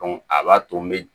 a b'a to n be